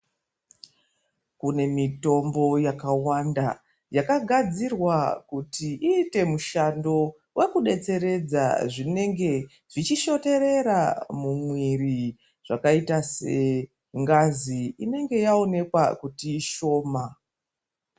Kunemitombo yakawanda yakagadzirwa kuti ite mushando wekudetseredza zvinenge zvichishoterera mumwiri zvakayita sengazi inenge yawoneka kuti ishoma.